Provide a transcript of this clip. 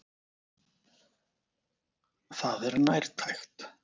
Það er nærtækt.